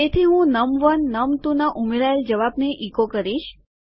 તેથી હું num1num2ના ઉમેરાયેલ જવાબને ઇકો કરીશ